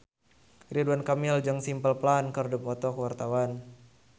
Ridwan Kamil jeung Simple Plan keur dipoto ku wartawan